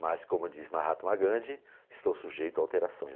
Mas, como diz Mahatma Gandhi, estou sujeito a alterações.